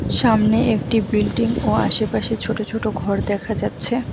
সামনে একটি বিল্ডিং ও আশেপাশে ছোট ছোট ঘর দেখা যাচ্ছে।